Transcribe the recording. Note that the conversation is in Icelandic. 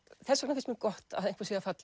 þess vegna finnst mér gott að einhver sé að